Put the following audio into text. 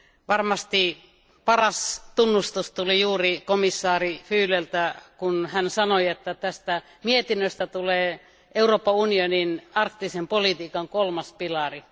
Varmasti paras tunnustus tuli juuri komissaari Füleltä, kun hän sanoi, että tästä mietinnöstä tulee Euroopan unionin arktisen politiikan kolmas pilari.